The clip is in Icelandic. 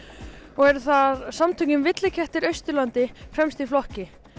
og eru þar samtökin villikettir Austurlandi fremst í flokki